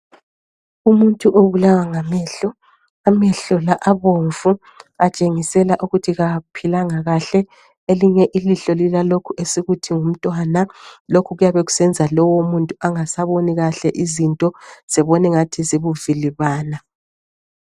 Umuntu obulawa ngamehlo, amehlo la abomvu, atshengisela ukuthi kaphilanga kuhle. Elinye ilihlo lilalokhu esithi ngumntwana, lokhu kuyabe sekusenza lowo muntu engasaboni kuhle izinto, zibone ingathi zibuvilibane.